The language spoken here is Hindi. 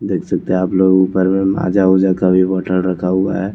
देख सकते है आपलोग ऊपर में माजा ऊज़ा का भी बोटल रखा हुआ हैं।